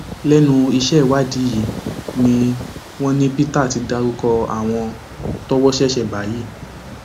lẹnu iṣẹ ìwádìí yìí ni wọn ní peter ti dárúkọ àwọn tọwọ ṣẹṣẹ bá yìí